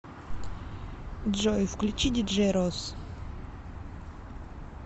джой включи диджей росс